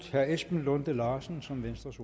herre esben lunde larsen som venstres